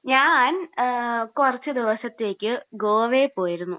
ഞാൻ കുറച്ച് ദിവസത്തേക്ക് ഗോവയിൽ പോയിരുന്നു.